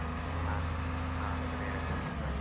ಹಾ ಹಾ ಸರಿ ಆಯ್ತು bye .